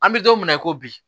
An bɛ don min na i ko bi